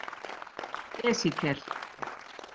Esekíel